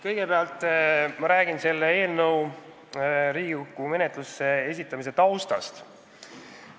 Kõigepealt ma räägin selle eelnõu Riigikokku menetlusse esitamise taustast.